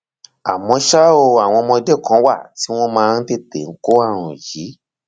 àmọ ṣá o àwọn ọmọdé kan wà tí wọn máa ń tètè kó ààrùn yìí